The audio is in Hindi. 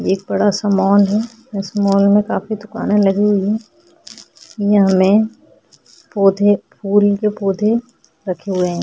ये एक बड़ा सा मॉल है इस मॉल में काफी दुकाने लगी हुई हैं ये हमें पौधे फूल के पौधे रखे हुए हैं।